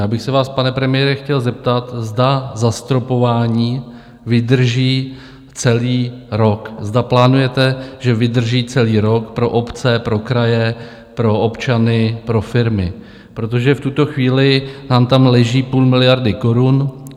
Já bych se vás, pane premiére, chtěl zeptat, zda zastropování vydrží celý rok, zda plánujete, že vydrží celý rok pro obce, pro kraje, pro občany, pro firmy, protože v tuto chvíli nám tam leží půl miliardy korun.